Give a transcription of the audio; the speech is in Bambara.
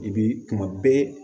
I bi kuma bɛɛ